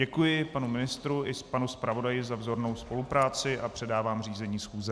Děkuji panu ministru i panu zpravodaji za vzornou spolupráci a předávám řízení schůze.